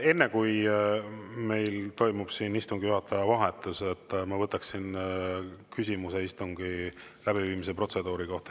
Enne kui meil toimub siin istungi juhataja vahetus, ma võtan küsimuse istungi läbiviimise protseduuri kohta.